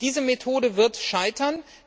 Diese Methode wird scheitern.